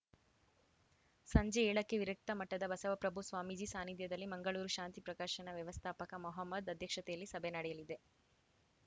ಸಂಜೆ ಏಳಕ್ಕೆ ವಿರಕ್ತ ಮಠದ ಬಸವಪ್ರಭು ಸ್ವಾಮೀಜಿ ಸಾನಿಧ್ಯದಲ್ಲಿ ಮಂಗಳೂರು ಶಾಂತಿ ಪ್ರಕಾಶನ ವ್ಯವಸ್ಥಾಪಕ ಮಹಮ್ಮದ್‌ ಅಧ್ಯಕ್ಷತೆಯಲ್ಲಿ ಸಭೆ ನಡೆಯಲಿದೆ